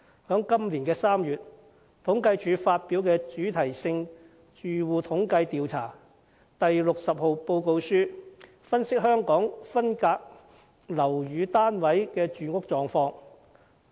今年3月，政府統計處發表了《主題性住戶統計調查第60號報告書》，分析香港分間樓宇單位的住屋狀況。